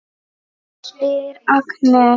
spyr Agnes.